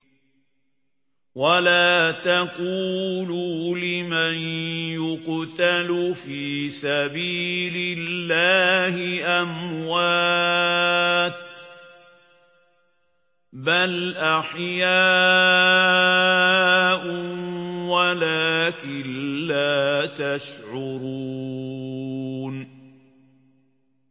وَلَا تَقُولُوا لِمَن يُقْتَلُ فِي سَبِيلِ اللَّهِ أَمْوَاتٌ ۚ بَلْ أَحْيَاءٌ وَلَٰكِن لَّا تَشْعُرُونَ